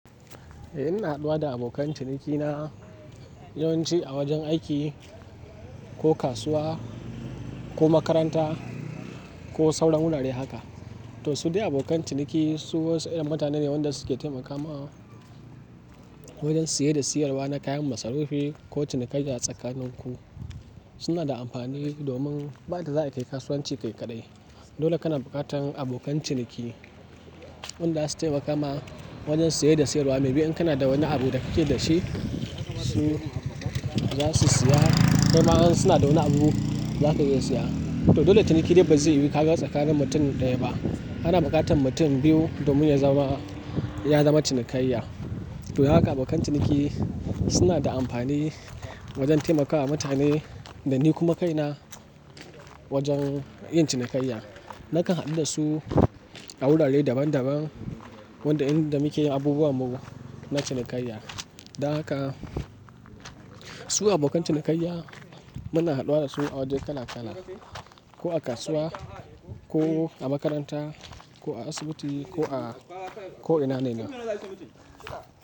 Eh ina haɗuwa da abokan cinikina yawanci a wajen aiki, ko kasuwa, ko makaranta, ko sauran wurare haka. To su dai abokan ciniki su wasu irin mutane ne wanda suke taimakawa wajen siye da siyarwa na kayan masarufi ko cinikayya a tsakanin ku. Suna da amfani domin ba yadda za a yi kayi kasuwanci kai kaɗai. Dole kana buƙatan abokan ciniki, wanda zasu taimakama wajen siye da siyarwa. Mai bi in kana da wani abu da kake da shi su za su siya, kaima in suna da wani abu za ka iya siya. To dole ciniki dai ba zai yiwu ka ga tsakanin mutum ɗaya ba. Kana buƙatan mutum biyu domin ya zama, ya zama cinikayya. To haka abokan ciniki suna da amfani wajen taimakawa mutane da ni kuma kaina wajen yin cinikayya. Nakan hadu da su a wurare daban daban, wanda inda muke yi abubuwan mu na cinikayya. Da haka su abokan cinikayya muna haduwa da su a wajen kala kala, ko a kasuwa, ko a makaranta, ko a asibiti ko a ko'ina ne ma.